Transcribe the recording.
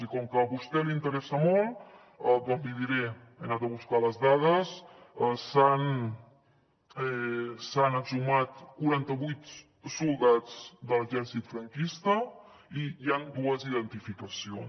i com que a vostè li interessa molt doncs l’hi diré he anat a buscar les dades s’han exhumat quaranta vuit soldats de l’exèrcit franquista i hi han dues identificacions